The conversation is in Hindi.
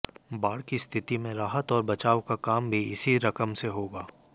बाढ़ की स्थिति में राहत और बचाव का काम भी इसी रकम से होगा